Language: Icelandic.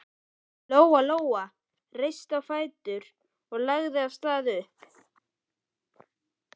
Lóa Lóa reis á fætur og lagði af stað upp.